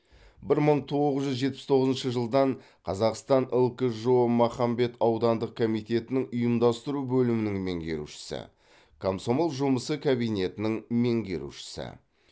бір мың тоғыз жүз жетпіс тоғызыншы жылдан қазақстан лкжо махамбет аудандық комитетінің ұйымдастыру бөлімінің меңгерушісі комсомол жұмысы кабинетінің меңгерушісі